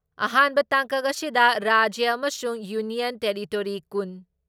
ꯑꯍꯥꯟꯕ ꯇꯥꯡꯀꯛ ꯑꯁꯤꯗ ꯔꯥꯖ꯭ꯌ ꯑꯃꯁꯨꯡ ꯌꯨꯅꯤꯌꯟ ꯇꯦꯔꯤꯇꯣꯔꯤ ꯀꯨꯟ